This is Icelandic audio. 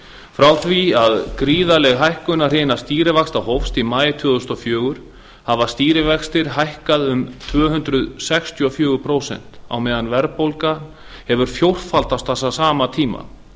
frá því að gríðarleg hækkunarhrina stýrivaxta hófst í maí tvö þúsund og fjögur hafa stýrivextir hækkað um tvö hundruð sextíu og fjögur prósent á meðan verðbólga hefur fjórfaldast á sama tíma